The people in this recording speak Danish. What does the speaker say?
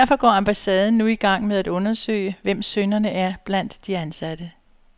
Derfor går ambassaden nu i gang med at undersøge, hvem synderne er blandt de ansatte.